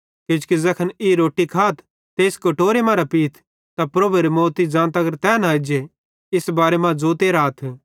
किजोकि ज़ैखन ई रोट्टी खाथ ते इस कटोरे मरां पीथ त प्रभुएरे मौती ज़ां तगर तै न एज्जे इस बारे मां ज़ोते राथ